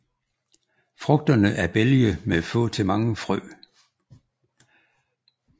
Frugterne er bælge med få til mange frø